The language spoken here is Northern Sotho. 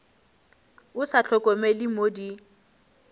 o sa hlokomele mo di